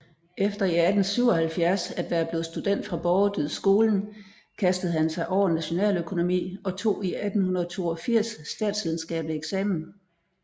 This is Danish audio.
Efter i 1877 at være blevet student fra Borgerdydskolen kastede han sig over nationaløkonomi og tog i 1882 statsvidenskabelig eksamen